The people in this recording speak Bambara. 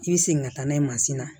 I bɛ segin ka taa n'a ye mansin na